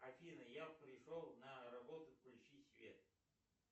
афина я пришел на работу включи свет